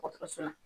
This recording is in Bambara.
Dɔgɔtɔrɔso la